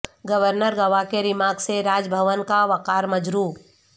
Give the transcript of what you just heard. governor Goa کے remarks سے راج بھون کا وقار مجروح